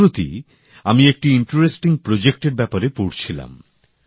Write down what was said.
সম্প্রতি আমি একটি আকর্ষণীয় প্রকল্পের ব্যাপারে পড়ছিলাম